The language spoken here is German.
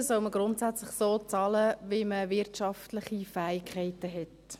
Steuern soll man grundsätzlich so bezahlen, wie man wirtschaftliche Fähigkeiten hat.